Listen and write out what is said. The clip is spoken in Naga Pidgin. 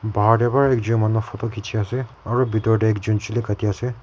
bahar de ba ekjun manu photo kichi ase aru bitor tey ekjun chuki kati ase.